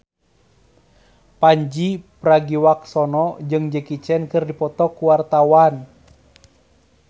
Pandji Pragiwaksono jeung Jackie Chan keur dipoto ku wartawan